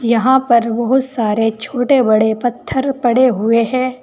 यहां पर बहुत सारे छोटे बड़े पत्थर पड़े हुए हैं।